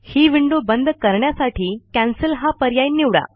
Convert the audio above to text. ही window बंद करण्यासाठी cancel हा पर्याय निवडा